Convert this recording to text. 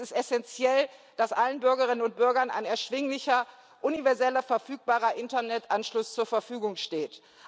Es ist essenziell, dass allen Bürgerinnen und Bürgern ein erschwinglicher, universeller, verfügbarer Internetanschluss zur Verfügung steht.